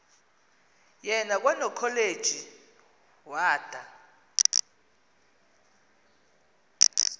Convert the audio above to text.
yena kwanokholeji wada